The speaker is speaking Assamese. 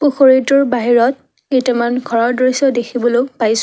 পুখুৰীটোৰ বাহিৰত কেইটামান ঘৰৰ দৃশ্যও দেখিবলৈ পাইছ--